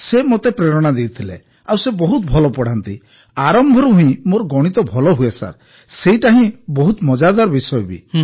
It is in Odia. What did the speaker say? ସେ ମୋତେ ପ୍ରେରଣା ଦେଇଥିଲେ ଆଉ ସେ ବହୁତ ଭଲ ପଢ଼ାନ୍ତି ଆଉ ଆରମ୍ଭରୁ ହିଁ ମୋର ଗଣିତ ଭଲ ହୁଏ ଆଉ ସେଇଟା ବହୁତ ମଜାଦାର ବିଷୟ ବି